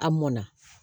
A mɔnna